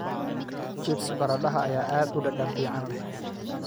Chips baradhada ayaa aad u dhadhan fiican leh.